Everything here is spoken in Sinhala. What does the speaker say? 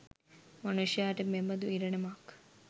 මනුෂ්‍යාට මෙබඳු ඉරණමක්